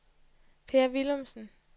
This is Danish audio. Per Willumsen